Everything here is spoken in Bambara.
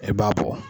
E b'a bɔ